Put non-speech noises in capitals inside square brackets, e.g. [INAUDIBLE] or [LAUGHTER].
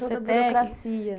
[UNINTELLIGIBLE] Toda a burocracia.